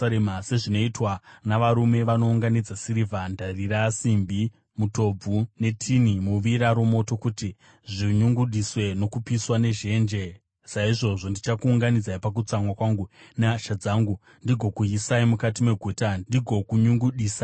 Sezvinoitwa navarume vanounganidza sirivha, ndarira, simbi, mutobvu netini muvira romoto kuti zvinyungudiswe nokupiswa nezhenje, saizvozvo ndichakuunganidzai pakutsamwa kwangu nehasha dzangu ndigokuisai mukati meguta ndigokunyungudisai.